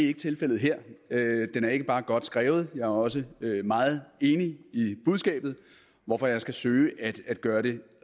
ikke tilfældet her den er ikke bare godt skrevet men jeg er også meget enig i budskabet hvorfor jeg skal søge at gøre det